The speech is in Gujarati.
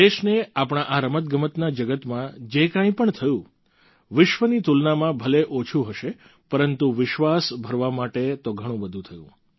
દેશને આપણા આ રમતગમતના જગતમાં જે કંઈ પણ થયું વિશ્વની તુલનામાં ભલે ઓછું હશે પરંતુ વિશ્વાસ ભરવા માટે તો ઘણું બધું થયું